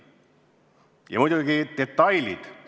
Ja muidugi detailid.